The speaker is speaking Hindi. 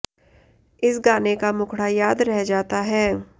इस गाने का मुखड़ा याद रह जाता है